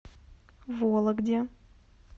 вологде